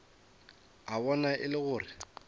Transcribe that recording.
a bona e le gore